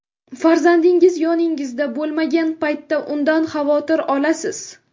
Farzandingiz yoningizda bo‘lmagan paytda undan xavotir olasiz.